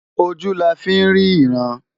Ojú la fí ń rí ìran.